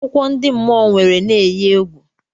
Akụkọ ndị mmụọ nwere na-enyi egwu.